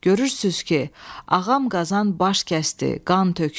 Görürsünüz ki, Ağam Qazan baş kəsdi, qan tökdü.